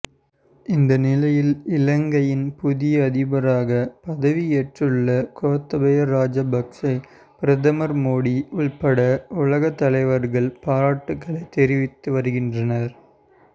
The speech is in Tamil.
இந்தநிலையில் இலங்கையின் புதிய அதிபராக பதவியேற்றுள்ள கோத்தபய ராஜபக்சே பிரதமர் மோடி உள்பட உலக தலைவர்கள் பாராட்டுகளை தெரிவித்து வருகின்றனர்